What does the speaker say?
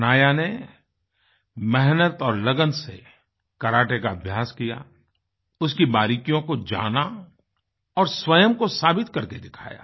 हनाया ने मेहनत और लगन से करते का अभ्यास किया उसकी बारीकियों को जाना और स्वयं को साबित करके दिखाया